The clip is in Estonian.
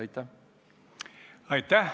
Aitäh!